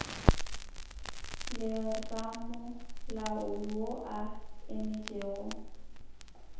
le ramolao yo a emetšego